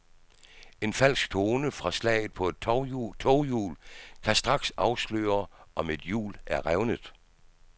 En falsk tone fra slaget på et toghjul kan straks afsløre, om et hjul er revnet.